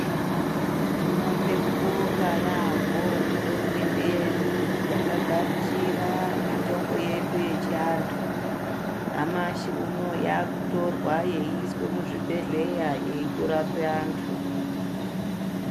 Tinode kubonga yaambo kuhurumende yedu yakagamuchira mitombo yedu yechivantu. Nyamashi unouyu yakutorwa yeiiswe muzvibhedhleya yeitorape vantu.